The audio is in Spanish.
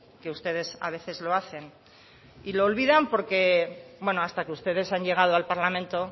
que ustedes a veces lo hacen y lo olvidan porque hasta que ustedes han llegado al parlamento